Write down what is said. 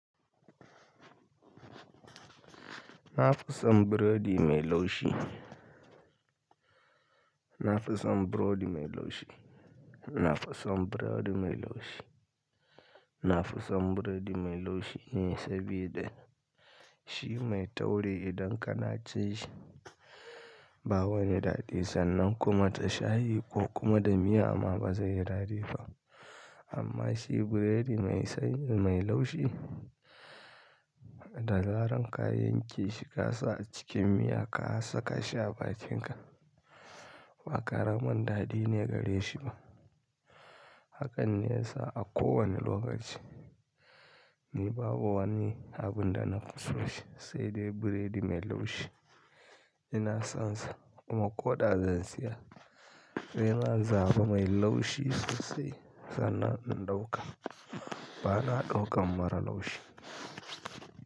Na fi son burodi mai laushi. Na fi son burodi mai laushi. Na fi son burodi mai laushi. Na fi son burodi mai laushi ne saboda shi mai tauri idan kana cin shi ba wani daɗi sannan kuma ta shayi ko kuma da miya ma ba zai yi daɗi ba. Amma shi burodi mai sai mai laushi, da zaran ka yanke shi ka sa a cikin miya ka saka shi a bakin ka, ba ƙaramin daɗi ne gare shi ba. Hakan ne yasa a kowane lokaci, ni babu wani abun da na fi so shi sai dai burodi mai laushi. Ina son sa kuma ko da zan siya. Sai zan zaɓa mai laushi sosai sannan in ɗauka. Ba na ɗaukan mara laushi.